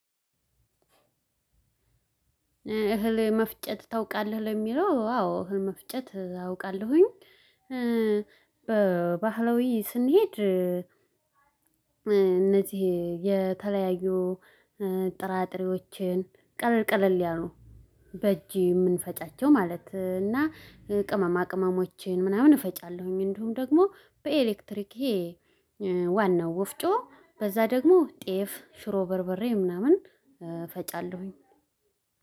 እህል መፍጨት ታውቃለህ ለሚለው አዎ እህል መፍጨት አውቃለሁኝ። በባህላዊ ስንሄድ እነዚህ የተለያዩ ጥራጥሬዎችን ቀለል ቀለል ያሉ በእጄ የምንፈጫቸው ማለት እና ቅመማ ቅመሞቼን ምናምን እፈጫለሁኝ። እንዲሁም ደግሞ በኤሌክትሪክ ይሄ ዋናው ወፍጮ በዛ ደግሞ ጤፍ ሽሮ በርበሬ ምናምን እፈጫለሁኝ።